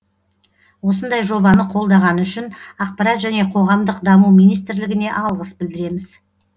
осындай жобаны қолдағаны үшін ақпарат және қоғамдық даму министрлігіне алғыс білдіреміз